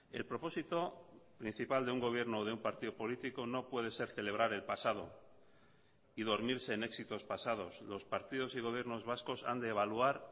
el propósito principal de un gobierno de un partido político no puede ser celebrar el pasado y dormirse en éxitos pasados los partidos y gobiernos vascos han de evaluar